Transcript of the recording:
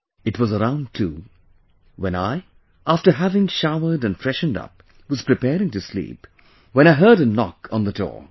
It was around 2, when I, after having showered and freshened up was preparing to sleep, when I heard a knock on the door